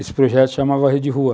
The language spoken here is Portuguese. Esse projeto se chamava Rede Rua.